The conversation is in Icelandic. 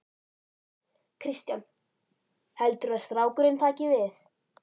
Kristján: Heldurðu að strákurinn taki við?